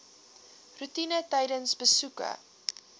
roetine tydens besoeke